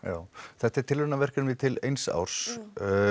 þetta er tilraunaverkefni til eins árs